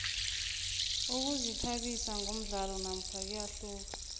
ukuzithabisa ngomdlalo nakho kuyahluka